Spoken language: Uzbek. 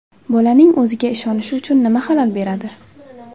Bolaning o‘ziga ishonishi uchun nima xalal beradi?.